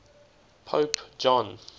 pope john